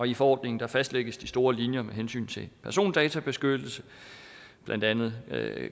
i forordningen fastlægges de store linjer med hensyn til persondatabeskyttelse blandt andet